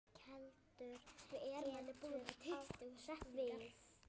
Keldur getur átt við